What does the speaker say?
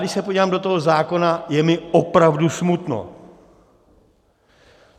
Když se podívám do toho zákona, je mi opravdu smutno.